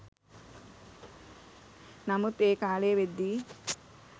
නමුත් ඒ කාලේ වෙද්දී